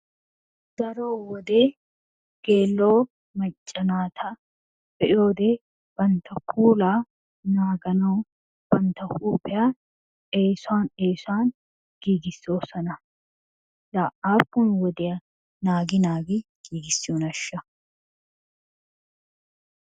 Daro wode geela"o macca naata be"iyoode bantta puula naaganawu bantta huuphiya eesuwan eesuwan giigisoosona. Laa aappun wodiya naagi naagi giigissiyoonaashsha?